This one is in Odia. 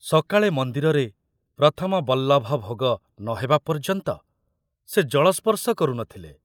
ସକାଳେ ମନ୍ଦିରରେ ପ୍ରଥମ ବଲ୍ଲଭ ଭୋଗ ନ ହେବା ପର୍ଯ୍ୟନ୍ତ ସେ ଜଳସ୍ପର୍ଶ କରୁ ନ ଥିଲେ।